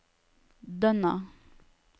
Dønna